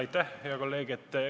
Aitäh, hea kolleeg!